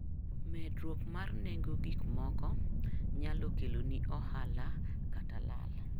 Medruok mar nengo gik moko nyalo keloni ohala kata lal.